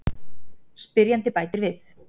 Spyrjandi bætir við: